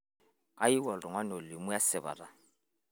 kayieu oltung'ani olimu esipata